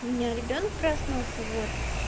у меня ребёнок проснулся вот